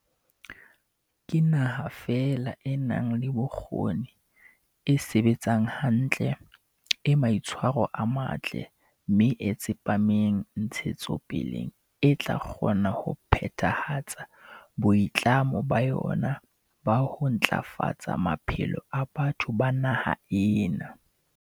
Ke naha feela e nang le bokgoni, e sebetsang hantle, e maitshwaro a matle mme e tsepameng ntshetsopeleng e tla kgona ho phethahatsa boitlamo ba yona ba ho ntla fatsa maphelo a batho ba naha ena.